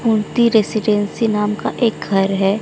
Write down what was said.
मुर्ती रेसीडेंसी नाम का एक घर है।